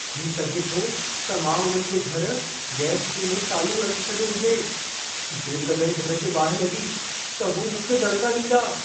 थी सघे थो त मां उन्हनि जे घरि गैस चूल्हो चालू रखी छॾियो हुजे। जेकॾहिं घर खे बाहि लॻी, त हू मूंखे दड़िका ॾींदा।